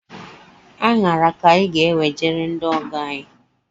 Aṅara ka anyị ga enwejere ndị ọgọ anyi